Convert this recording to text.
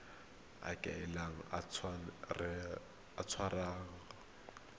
a kile a tshwarwa ka